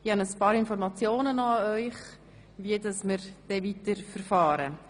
Ich habe noch ein paar Informationen für Sie zum weiteren Vorgehen.